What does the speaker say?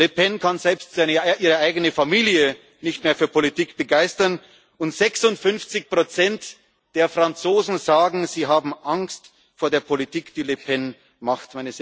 Justiz. Le Pen kann selbst ihre eigene Familie nicht mehr für Politik begeistern, und 56 der Franzosen sagen, sie haben Angst vor der Politik, die Le Pen